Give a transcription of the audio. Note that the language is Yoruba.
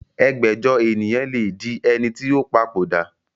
ẹgbẹ́jọ ènìyàn lé di ẹ ní ó ti papòdà